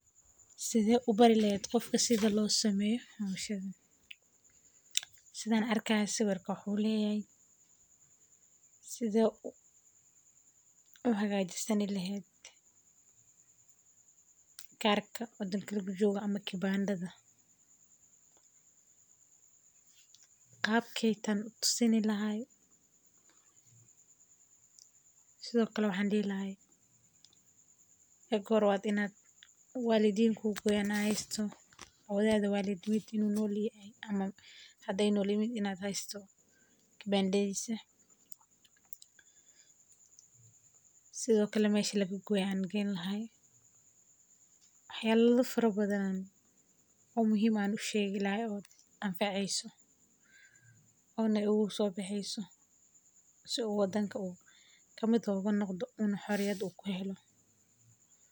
Sithe ubari lehed sitha losameyo hoshan sithan arki hayo wuxuu leyahay sithe u hagajisaan lehed kibandadha marki hore waa in hadii nolyihin wax yala fara badan oo muhiim ah waxana lagu kala sara iyada oo lo egayo ujedadha lo isticmalo waxyelaad surta galka ah iyo isdaxgalka dawenta kala duwan dorka dowlaada.